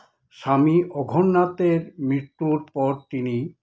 স্বামী অঘোরনাথের মৃত্যুর পর তিনি